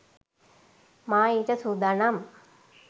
මා ඊට සූදානම්